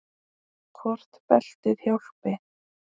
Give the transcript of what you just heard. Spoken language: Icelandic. Hvort beltið hjálpi?